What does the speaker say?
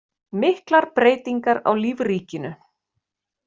Miklar breytingar á lífríkinu